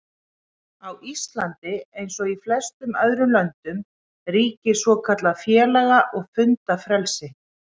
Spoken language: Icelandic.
Á Íslandi, eins og í flestum öðrum löndum, ríkir svokallað félaga- og fundafrelsi.